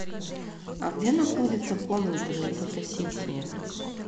а где находится комната для фотосессии